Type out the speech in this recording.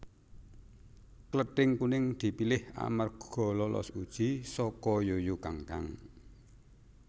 Klething Kuning dipilih amarga lolos uji saka Yuyu Kangkang